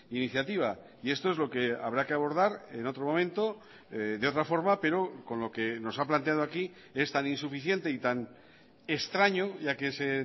iniciativa y esto es lo que habrá que abordar en otro momento de otra forma pero con lo que nos ha planteado aquí es tan insuficiente y tan extraño ya que ese